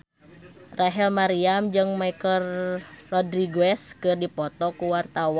Rachel Maryam jeung Michelle Rodriguez keur dipoto ku wartawan